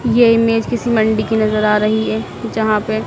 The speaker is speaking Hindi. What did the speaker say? ये इमेज किसी मंडी की नजर आ रही है जहां पे--